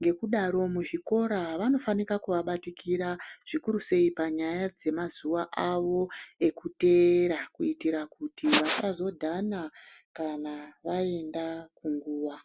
ngekudaro muzvikora vanofanika kuvabatikira zvikuru sei panyaya dzemazuva avo ekuteera. Kuitira kuti vasazodhana kana vaenda kunguva.